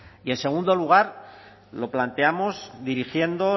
y en segundo lugar lo planteamos dirigiendo